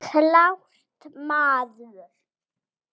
Klárt, maður!